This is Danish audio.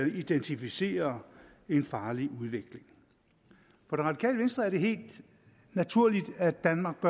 identificere en farlig udvikling for det radikale venstre er det helt naturligt at danmark